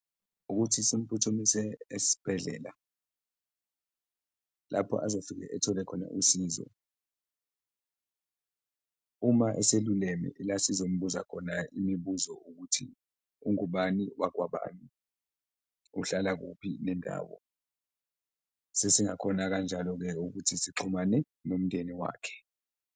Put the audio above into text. Ukuthi simphuthumise esibhedlela lapho azofike ethole khona usizo, uma eseluleme ila sizombuza khona imibuzo ukuthi, ungubani wakwabani? Uhlala kuphi nendawo? Sesingakhona kanjalo-ke ukuthi sixhumane nomndeni wakhe.